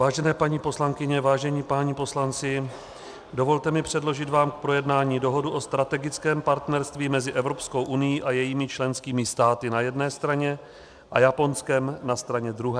Vážené paní poslankyně, vážení páni poslanci, dovolte mi předložit vám k projednání Dohodu o strategickém partnerství mezi Evropskou unií a jejími členskými státy na jedné straně a Japonskem na straně druhé.